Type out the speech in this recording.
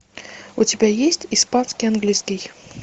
у тебя есть испанский английский